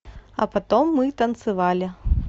а потом мы танцевали